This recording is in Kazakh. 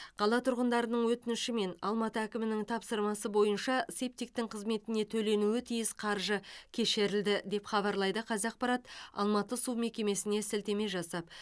қала тұрғындарының өтініші мен алматы әкімінің тапсырмасы бойынша септиктің қызметіне төленуі тиіс қаржы кешірілді деп хабарлайды қазақпарат алматы су мекемесіне сілтеме жасап